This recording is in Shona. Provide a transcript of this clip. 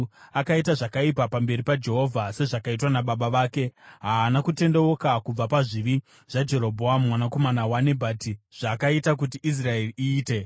Akaita zvakaipa pamberi paJehovha, sezvakaitwa nababa vake. Haana kutendeuka kubva pazvivi zvaJerobhoamu mwanakomana waNebhati zvakaita kuti Israeri iite.